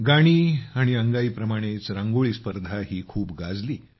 गाणी आणि अंगाई प्रमाणेच रांगोळी स्पर्धाही खूप गाजली